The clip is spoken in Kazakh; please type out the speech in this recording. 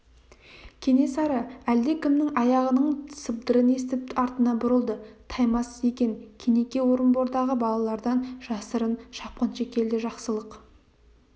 кенесары әлдекімнің аяғының сыбдырын естіп артына бұрылды таймас екен кенеке орынбордағы балалардан жасырын шапқыншы келді жақсылық